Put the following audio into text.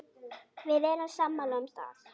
Við erum sammála um það.